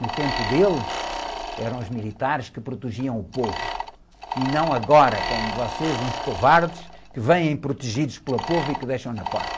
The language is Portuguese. No tempo dele, eram os militares que protegiam o povo, e não agora, como vocês, uns covardes, que vêm protegidos pelo povo e que porta.